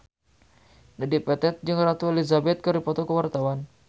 Dedi Petet jeung Ratu Elizabeth keur dipoto ku wartawan